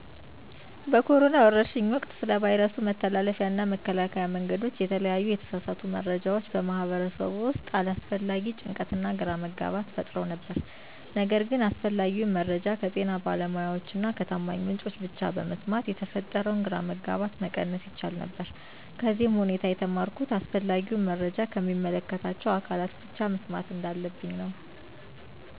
በኮሮና ወረርሽኝ ወቅት ስለ ቫይረሱ መተላለፊያ እና መከላከያ መንገዶች የተለያዩ የተሳሳቱ መረጃዎች በማህበረሰቡ ውስጥ አላስፈላጊ ጭንቀትና ግራ መጋባት ፈጥረው ነበር። ነገር ግን አስፈላጊውን መረጃ ከጤና ባለሙያዎች እና ከታማኝ ምንጮች ብቻ በመስማት የተፈጠረውን ግራ መጋባት መቀነስ ይቻል ነበር። ከዚህም ሁኔታ የተማርሁት አስፈላጊውን መረጃ ከሚመለከታቸው አካላት ብቻ መስማት እንዳለብኝ ነው።